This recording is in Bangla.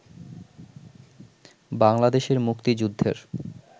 বাংলাদেশের মুক্তিযুদ্ধের